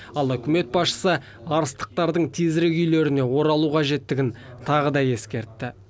ал үкімет басшысы арыстықтардың тезірек үйлеріне оралу қажеттігін тағы да ескертті